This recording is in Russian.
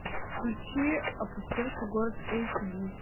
включи опустевший город эйч ди